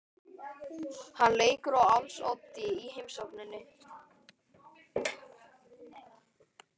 Hann leikur á als oddi í heimsókninni.